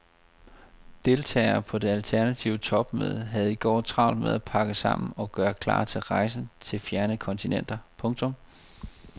Deltagere på det alternative topmøde havde i går travlt med at pakke sammen og gøre klar til rejsen til fjerne kontinenter. punktum